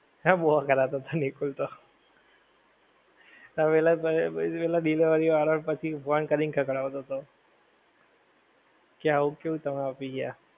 હે બઉ અ કડાતા હતા નિકુલ તો પેલા ભાઈ delivery વાળા ભાઈ ને phone કરીને ખખડાવતો હતો કયા આ શું તમે આપી ગયા?